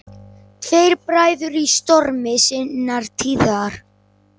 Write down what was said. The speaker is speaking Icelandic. Tveir bræður í stormi sinnar tíðar.